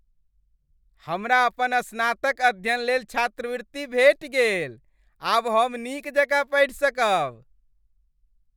हमरा अपन स्नातक अध्ययन लेल छात्रवृत्ति भेटि गेल। आब हम नीक जकाँ पढ़ि सकब।